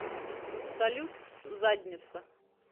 салют задница